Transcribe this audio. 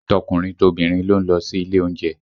Tọkùnrin tobìnrin ló ń lọ sí ilé oúnjẹ